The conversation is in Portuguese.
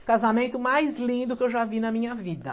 O casamento mais lindo que eu já vi na minha vida.